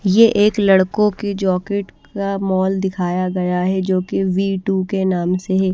ये एक लड़कों की जाेकेट का मॉल दिखाया गया है जोकि वी टू के नाम से है।